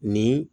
Ni